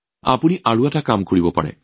আপোনালোকে আৰু এটা কাম কৰিব পাৰে